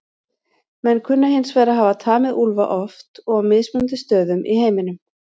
Menn kunna hins vegar að hafa tamið úlfa oft og á mismunandi stöðum í heiminum.